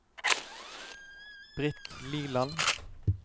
Britt Liland